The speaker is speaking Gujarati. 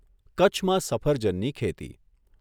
કચ્છમાં સફરજનની ખેતી